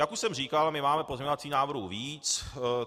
Jak už jsem říkal, my máme pozměňovacích návrhů víc.